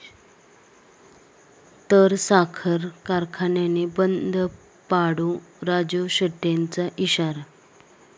...तर साखर कारखाने बंद पाडू, राजू शेट्टींचा इशारा